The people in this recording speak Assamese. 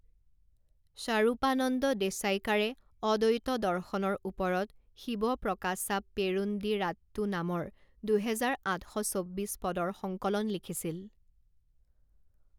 স্বাৰূপানন্দ দেশাইকাৰে অদ্বৈত দৰ্শনৰ ওপৰত শিৱপ্ৰকাচাপ পেৰুন্দিৰাট্টু নামৰ দুহেজাৰ আঠ শ চৌব্বিছ পদৰ সংকলন লিখিছিল।